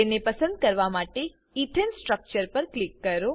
તેને પસંદ કરવા માટે ઈથેન સ્ટ્રક્ચર પર ક્લિક કરો